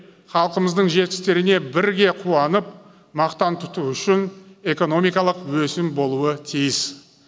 халқымыздың жетістіктеріне бірге қуанып мақтан тұту үшін экономикалық өсім болуы тиіс